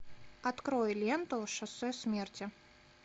открой ленту шоссе смерти